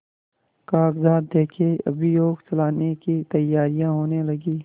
कागजात देखें अभियोग चलाने की तैयारियॉँ होने लगीं